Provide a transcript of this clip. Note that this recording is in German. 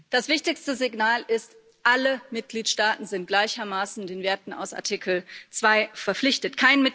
Das wichtigste Signal ist Alle Mitgliedstaaten sind gleichermaßen den Werten aus Artikel 2 verpflichtet.